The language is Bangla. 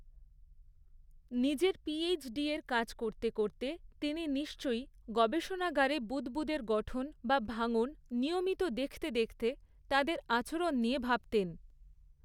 নিজের পি.এইচ.ডির কাজ করতে করতে, তিনি নিশ্চয়ই গবেষণাগারে বুদ্বুদের গঠন বা ভাঙন নিয়মিত দেখতে দেখতে তাদের আচরণ নিয়ে ভাবতেন।